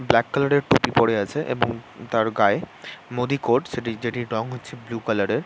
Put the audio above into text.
black colour এর টুপি পরে আছে এবং তার গায়ে মোদী কোটস সেটি যেটি রং হচ্ছে বুলু কালার এর--